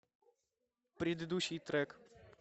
предыдущий трек